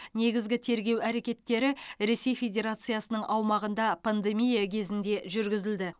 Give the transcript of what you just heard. негізгі тергеу әрекеттері ресей федерациясының аумағында пандемия кезінде жүргізілді